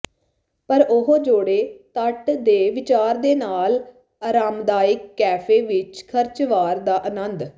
ਪਰ ਉਹ ਜੋੜੇ ਤੱਟ ਦੇ ਵਿਚਾਰ ਦੇ ਨਾਲ ਆਰਾਮਦਾਇਕ ਕੈਫੇ ਵਿਚ ਖਰਚ ਵਾਰ ਦਾ ਆਨੰਦ